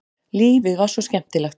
Lífið var svo skemmtilegt.